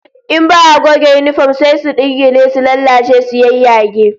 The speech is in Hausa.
In ba'a goge yinifom sai su dingile, su lalace su yayyage